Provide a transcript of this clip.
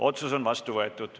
Otsus on vastu võetud.